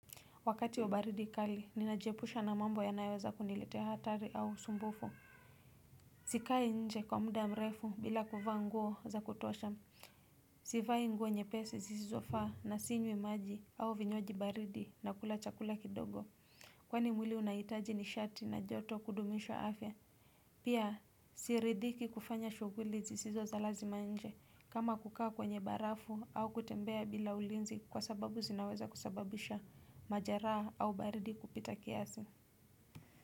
Wakati wa baridi kali, ninajiepusha na mambo yanayoweza kuniletea hatari au sumbufu. Sikai nje kwa muda mrefu bila kuvaa nguo za kutosha. Sivai nguo nyepesi sisizofa na sinywi maji au vinywaji baridi nakula chakula kidogo. Kwani mwili unahitaji nishati na joto kudumisha afya Pia siridhiki kufanya shughuli sisizo za lazima nje kama kukaa kwenye barafu au kutembea bila ulinzi kwa sababu zinaweza kusababisha majeraha au baridi kupita kiasi.